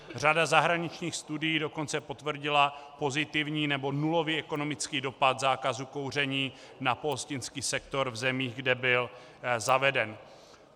Řada zahraničních studií dokonce potvrdila pozitivní nebo nulový ekonomický dopad zákazu kouření na pohostinský sektor v zemích, kde byl zaveden.